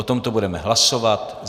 O tomto budeme hlasovat.